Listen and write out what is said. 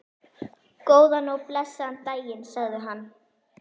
Góðan og blessaðan daginn, sagði hann.